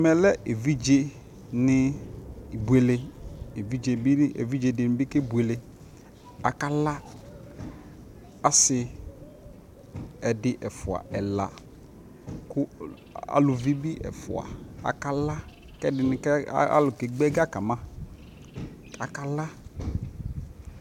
Ɛmɛ lɛ evidze ni ibuele, evidze di ni kebuele, akala Asi ɛdi ɛfua ɛla kʋ alʋvi bi ɛfua kʋ ɛdi ni alʋ kegba ɛga kama kakala